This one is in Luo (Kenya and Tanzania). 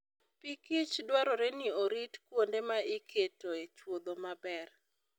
Pikich dwarore ni orit kuonde ma iketoe chuodho maber.